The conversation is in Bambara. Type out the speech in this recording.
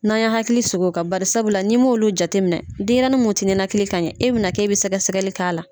N'an y'an hakili sigi o fɛ, bari sabula , nii m'olu jateminɛ, denɲɛrɛni mun tɛ ninakili ka ɲɛ, e bɛ na k'e bɛ o sɛgɛsɛgɛli k'a la.